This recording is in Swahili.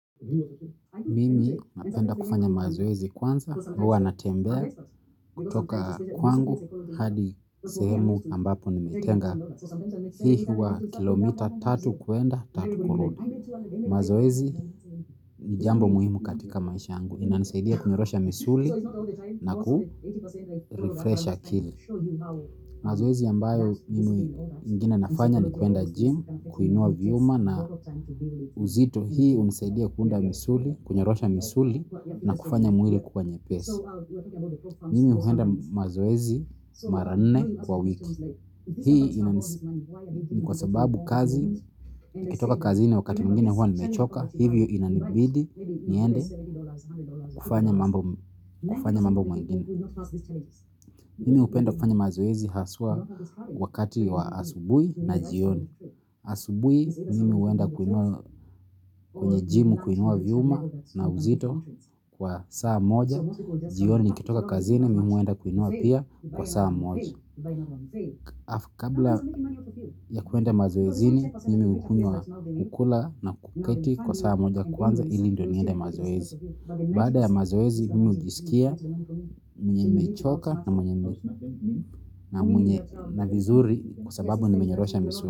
Mimi napenda kufanya mazoezi kwanza, huwa natembea kutoka kwangu hadi sehemu ambapo nimetenga hii huwa kilomita tatu kuenda tatu kurudi. Mazoezi nijambo muhimu katika maisha yangu. Inanisaidia tunyorosha misuli na kufresha kili. Mazowezi yambayo mimi ingine nafanya ni kuenda gym, kuinua viyuma na uzito. Hii uniseidia kuunda misuli, kunyorosha misuli na kufanya mwili kuwa nye pesi. Mimi huenda mazoezi maranne kwa wiki. Hii ina nisababu kazi, nikitoka kazi na wakati mungine hua nimechoka. Hivyo ina nibidi, niende, kufanya mambo mwengine. Nimi upenda kufanya mazoezi haswa wakati wa asubui na jioni. Asubui nimi uenda kwenye jimu kuinua viuma na uzito kwa saa moja. Jioni nikitoka kazini mimi uenda kuinua pia kwa saa moja. Kabla ya kuenda mazoezini nimi ukunye ukula na kuketi kwa saa moja kwanza ili ndo niende mazoezi. Bada ya mazoezi mimii ujisikia mwenye nimechoka na mwenye na vizuri kusababu nimenyorosha misu.